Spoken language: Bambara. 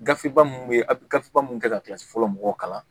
Gafe ba munnu be yen a bi gafe ba munnu kɛ ka kilasi fɔlɔ mɔgɔw kalan